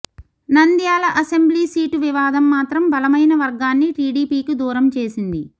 Nandyal assembly seat వివాదం మాత్రం బలమైన వర్గాన్ని టీడీపీకి దూరం చేసింది